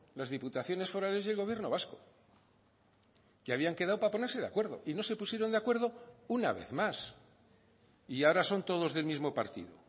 las diputaciones forales y el gobierno vasco que habían quedado para ponerse de acuerdo y no se pusieron de acuerdo una vez más y ahora son todos del mismo partido